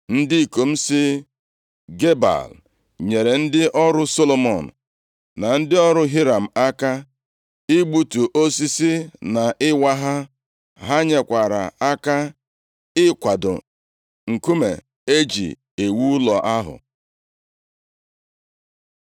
Ndị ikom si Gebal, nyere ndị ọrụ Solomọn na ndị ọrụ Hiram aka, igbutu osisi na ịwa ha. Ha nyekwara aka ịkwado nkume e ji ewu ụlọ ahụ.